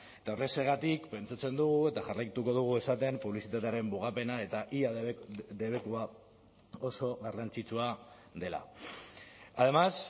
eta horrexegatik pentsatzen dugu eta jarraituko dugu esaten publizitatearen mugapena eta ia debekua oso garrantzitsua dela además